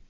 ۞